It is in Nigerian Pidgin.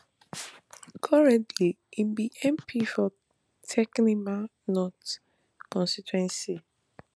currently im be mp for techiman north constituency